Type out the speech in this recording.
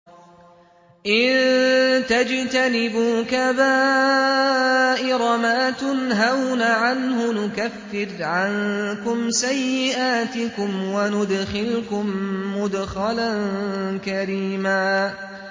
إِن تَجْتَنِبُوا كَبَائِرَ مَا تُنْهَوْنَ عَنْهُ نُكَفِّرْ عَنكُمْ سَيِّئَاتِكُمْ وَنُدْخِلْكُم مُّدْخَلًا كَرِيمًا